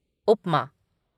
उपमा